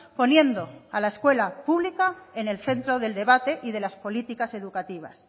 poniendo a la escuela pública en el centro del debate y de las políticas educativas